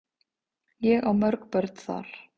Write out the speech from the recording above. Ég á mörg börn þar.